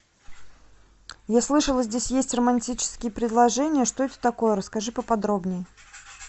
я слышала здесь есть романтические предложения что это такое расскажи поподробнее